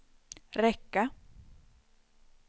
räcka